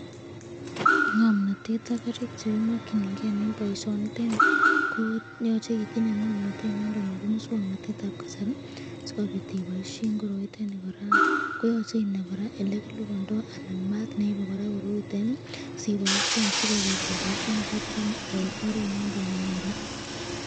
Ngomnotet ak karik chekimokying'e en boishonitet nii ko yoche itinye ng'omnotet nondon nebo muswoknotetab kasari sikobiit iboishen koroiton nii kora ko nyolu inai elekilibondo anan maat neibe koroitet nii siboishen sikobiit iboishen kiitet nii en oret noton nenyolu.